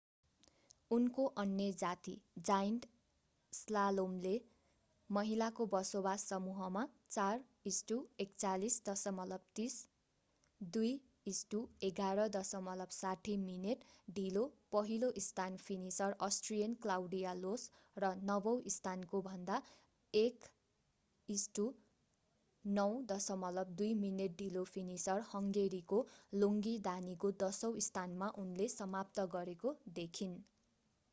उनको अन्य जाती जाईण्ट स्लालोमले महिलाको बसोबास समूहमा 4:41.30 2:11.60 मिनेट ढिलो पहिलो स्थान फिनिशर अस्ट्रियन क्लाउडिया लोश र नवौं स्थानकोभन्दा 1:09.02 मिनेट ढिलो फिनिशर हंगेरीको ग्लोंगी दानीको दशौं स्थानमा उनले समाप्त गरेको देखिन्।